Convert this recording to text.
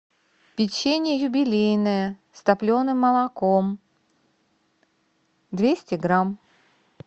печенье юбилейное с топленым молоком двести грамм